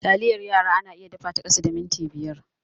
Taliyar yara ana iya dafa ta a kasa da minti biyar.